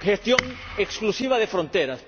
gestión exclusiva de fronteras.